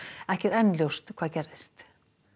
ekki er enn ljóst hvað gerðist